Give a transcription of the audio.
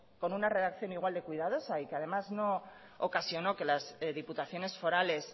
con una redacción igual de cuidadosa y que además no ocasionó que las diputaciones forales